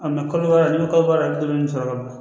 kalo kalo i bi sɔrɔ ka na